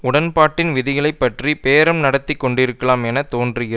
உடன்பாட்டின் விதிகளை பற்றி பேரம் நடத்தி கொண்டிருக்கலாம் என தோன்றுகிற